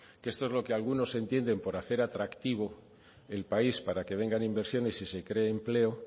esto es lo que algunos entienden por hacer atractivo el país para que vengan inversiones y se cree empleo